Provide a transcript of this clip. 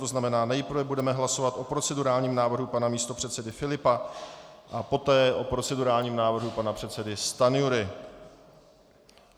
To znamená, nejprve budeme hlasovat o procedurálním návrhu pana místopředsedy Filipa a poté o procedurálním návrhu pana předsedy Stanjury.